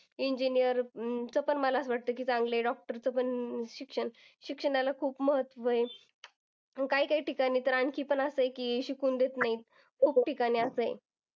Engineer अं पण मला असं वाटतं की चांगल्या doctor च्या पण शिक्षण शिक्षणाला खूप महत्व आहे. काही-काही ठिकाणी तर आणखी पण असं आहे की शिकून देत नाही. खूप ठिकाणी असं आहे.